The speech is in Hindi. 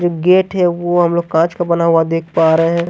जो गेट है वो हम लोग काँच का बना हुआ देख पा रहे हैं।